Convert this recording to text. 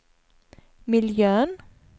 miljön